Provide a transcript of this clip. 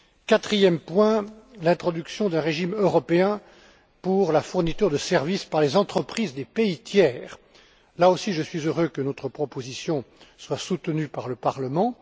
Quatrième point l'introduction d'un régime européen pour la fourniture de services par les entreprises des pays tiers. Là aussi, je suis heureux que notre proposition soit soutenue par le Parlement.